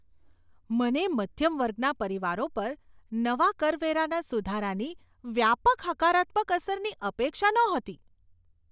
મને મધ્યમ વર્ગના પરિવારો પર નવા કરવેરાના સુધારાની વ્યાપક હકારાત્મક અસરની અપેક્ષા નહોતી.